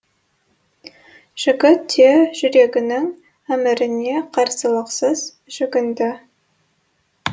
жігіт те жүрегінің әміріне қарсылықсыз жүгінді